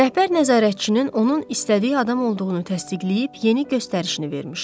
Rəhbər nəzarətçinin onun istədiyi adam olduğunu təsdiqləyib yeni göstərişini vermişdi.